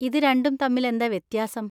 ഇത് രണ്ടും തമ്മിലെന്താ വ്യത്യാസം?